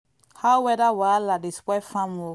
how weather wahala dey spoil farm work.